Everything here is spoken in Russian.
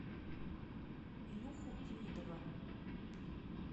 илюху демидова